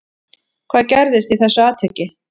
Hvað gerðist í þessu atviki